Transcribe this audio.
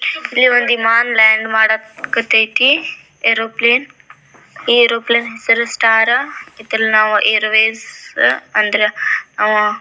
ಮಾನ್ land ಮಾಡಕ್ aeroplane aeroplane ಹೆಸರು star ಇತರ ನಾವು ಏರ್ವೇಸ್ ಅಂದ್ರ ನಾವು--